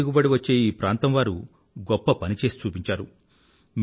తక్కువ దిగుబడి వచ్చే ఈ ప్రాంతంవారు గొప్ప పని చేసి చూపించారు